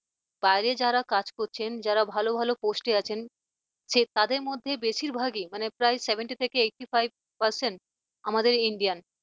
বাইরে যারা কাজ করছেন যারা ভালো ভালো post আছেন তাদের মধ্যে বেশিরভাগই মানে প্রায়ই seventy থেকে eighty five percent আমাদের Indian